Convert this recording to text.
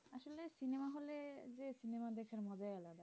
cinema দেখার মজাই আলাদা